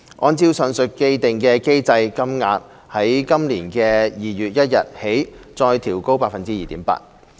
按照上述既定機制，金額將在今年2月1日起再調高 2.8%。